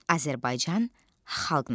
Azərbaycan xalq nağılı.